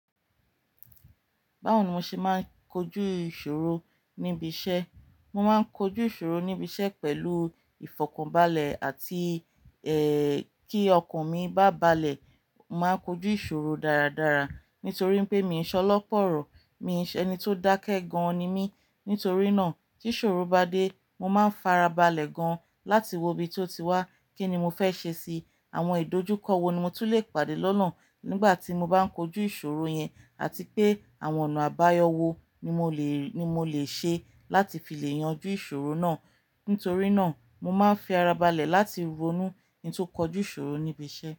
Báwo ni mo ṣe máa ń kojú ìṣòro níbi iṣẹ́? Mo máa ń kojú ìṣòro níbi iṣẹ́ pẹ̀lú ìfọ̀kànbalẹ̀ àti ẹ́ kí ọkàn mi bá balẹ̀. Mo máa ń kojú ìṣòro dáradára nítorí pé mi ò ṣọlọ́pọ̀ ọ̀rọ̀, mi ò ṣe ẹni tó dákẹ́ gan-an ni mí. Nítorí náà tí ìṣòro bá dé, mo máa ń fara balẹ̀ gan-an láti wo ibi tó ti wá, kí ni mo fẹ́ ṣe sí. Àwọn ìdojúkọ wo ni mo túlé pàdé lọ́nà nígbà tí mo bá ń kojú ìṣòro yẹn àti pé àwọn ọ̀nà àbáyọ wò ni mo le, ni mo le ṣe láti fi lè yanjú ìṣòro náà. Nítorí náà mo máa ń fi ara balẹ̀ láti ronú kí n tó kojú ìṣòro níbi iṣẹ́.